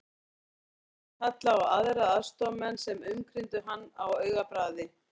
Aðstoðarmaðurinn kallaði á aðra aðstoðarmenn sem umkringdu hann á augabragði.